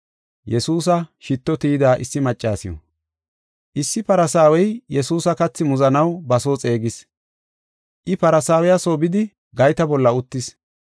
Issi Farsaawey Yesuusa kathi muzanaw ba soo xeegis. I Farisaawiya soo bidi gayta bolla uttis.